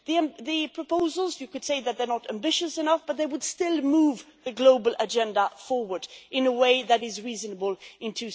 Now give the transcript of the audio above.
As for the proposals, you could say that they are not ambitious enough, but they would still move the global agenda forward in a way that is reasonable in